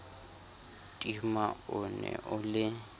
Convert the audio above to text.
tima o ne o le